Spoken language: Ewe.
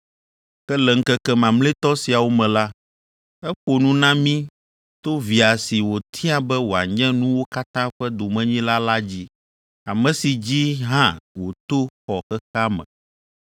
Ke le ŋkeke mamlɛtɔ siawo me la, eƒo nu na mí to Via si wòtia be wòanye nuwo katã ƒe domenyila la dzi, ame si dzi hã wòto wɔ xexea me.